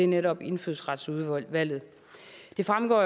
netop indfødsretsudvalget det fremgår